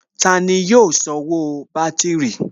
Tani yóò sanwó bátìrì?